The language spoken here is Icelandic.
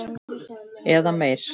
Eða meir.